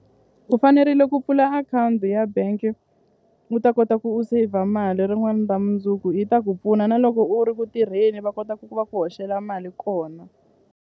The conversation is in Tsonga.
U fanerile ku pfula akhawunti ya bank u ta kota ku u saver mali rin'wani ra mundzuku yi ta ku pfuna na loko u ri ku tirheni va kota ku ku va ku hoxela mali kona.